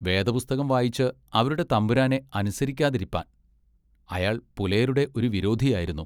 വേദപുസ്തകം വായിച്ച് അവരുടെ തമ്പുരാനെ അനുസരിക്കാതിരിപ്പാൻ" അയാൾ പുലയരുടെ ഒരു വിരോധിയായിരുന്നു.